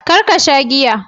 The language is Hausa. Kar ka sha giya.